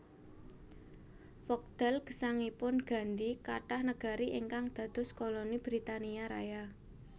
Wekdal gesangipun Gandhi kathah negari ingkang dados koloni Britania Raya